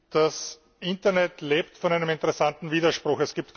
Das Internet lebt von einem interessanten Widerspruch.